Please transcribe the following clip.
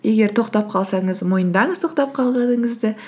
егер тоқтап қалсаңыз мойындаңыз тоқтап қалғаныңызды